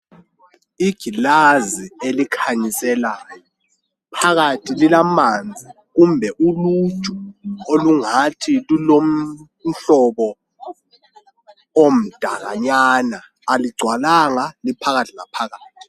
Igilazi elikhanyiselayo, phakathi lilamanzi kumbe uluju olungathi lulomhlobo omdakanyana. Aligcwalanga liphakathi laphakathi